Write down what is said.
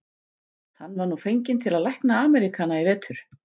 Hann var nú fenginn til að lækna Ameríkana í vetur.